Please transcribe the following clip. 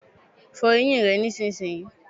Fo eyín rè nísìnyí